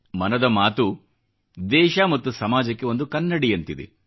ಮನದ ಮಾತು ದೇಶ ಮತ್ತು ಸಮಾಜಕ್ಕೆ ಒಂದು ಕನ್ನಡಿಯಂತಿದೆ